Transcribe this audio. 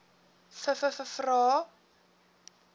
vvvvrae